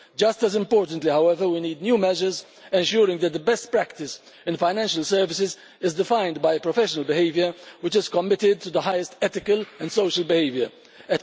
Just as importantly, however, we need new measures to ensure that the best practice in financial services is defined by professional behaviour which is committed to the highest ethical and social standards.